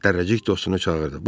Dərrəcik dostunu çağırdı.